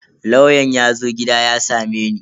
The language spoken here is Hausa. Lauyan yazo gida ya sameni.